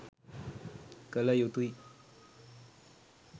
කළ යුතුයි.